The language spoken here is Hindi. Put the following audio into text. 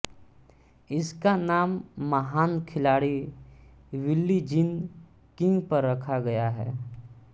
इसका नाम महान खिलाड़ी बिली जीन किंग पर रखा गया है